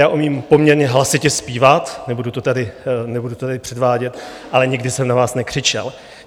Já umím poměrně hlasitě zpívat, nebudu to tady předvádět, ale nikdy jsem na vás nekřičel.